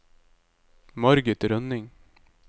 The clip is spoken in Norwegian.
Margit Rønning